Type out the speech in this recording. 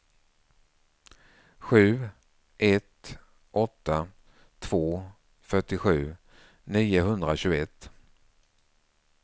sju ett åtta två fyrtiosju niohundratjugoett